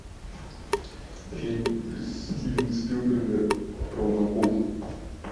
фильм стивена спилберга про акул